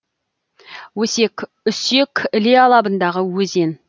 өсек үсек іле алабындағы өзен